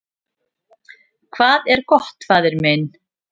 """Hvað er gott, faðir minn?"""